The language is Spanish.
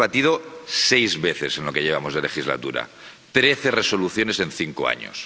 Hemos hecho seis debates en lo que llevamos de legislatura, trece Resoluciones en cinco años